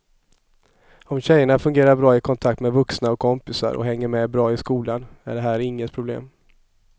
Om tjejerna fungerar bra i kontakt med vuxna och kompisar och hänger med bra i skolan är det här inget problem.